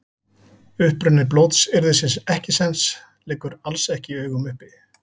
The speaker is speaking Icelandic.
Uppruni blótsyrðisins ekkisens liggur alls ekki í augum uppi.